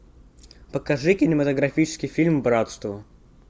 покажи кинематографический фильм братство